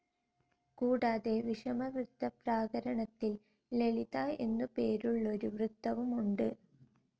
കൂടാതെ വിഷമവൃത്തപ്രാകാരണത്തിൽ ലളിത എന്നുപേരുള്ളൊരു വൃത്തവുമുണ്ട്.